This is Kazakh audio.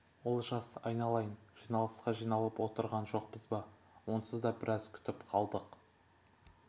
олжас айналайын жиналысқа жиналып отырған жоқпыз ба онсыз да біраз күтіп қалдық